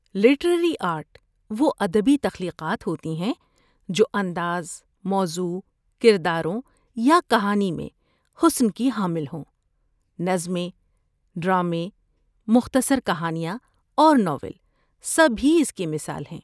Literary art وہ ادبی تخلیقات ہوتی ہیں جو انداز، موضوع، کرداروں یا کہانی میں حسن کی حامل ہوں۔ نظمیں، ڈرامے، مختصر کہانیاں اور ناول سبھی اس کی مثال ہیں۔